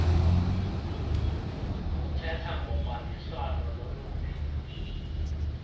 uthetha ngobambiswano loluphi